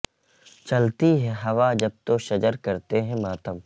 چلتی ہے ہوا جب تو شجر کرتے ہیں ماتم